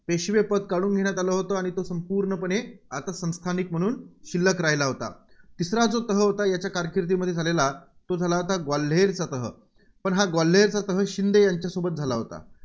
पेशवेपद काढून घेण्यात आलं होतं, आणि तो संपूर्णपणे आता संस्थानिक म्हणून शिल्लक राहिला होता. तिसरा जो तह होता, याच्या कारकिर्दमध्ये झालेला तो झाला होता ग्वाल्हेरचा तह. पण हा ग्वाल्हेरचा तह शिंदे यांच्यासोबत झाला होता.